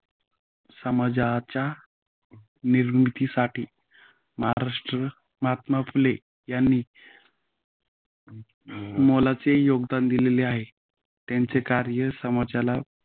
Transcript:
समाजाच्या निर्मितीसाठी महाराष्ट्र महात्मा फुले यांनी मोलाचे योगदान दिलेले आहे. त्यांचे कार्य समाजाला